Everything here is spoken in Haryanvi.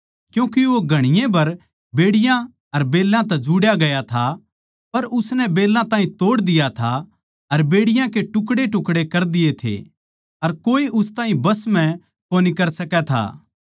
क्यूँके वो घणीए बै बेड़ियाँ अर बेल्लां तै जुड्यां गया था पर उसनै बेल्लां ताहीं तोड़ दिया था अर बेड़ियाँ के टुकड़ेटुकड़े कर दिये थे अर कोए उस ताहीं बस म्ह कोनी कर सकै था